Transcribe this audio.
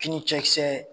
Fini cɛkisɛ